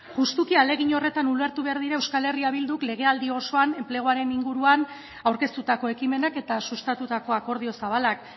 justuki ahalegin horretan ulertu behar dira euskal herria bilduk legealdi osoan enpleguaren inguruan aurkeztutako ekimenak eta sustatutako akordio zabalak